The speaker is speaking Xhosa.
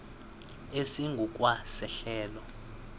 esingu kwa sehlelo